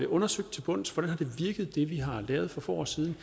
undersøgt til bunds hvordan det vi har lavet for få år siden